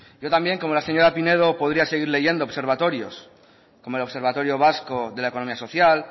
yo también como la señora pinedo podría seguir leyendo observatorios como el observatorio vasco de la economía social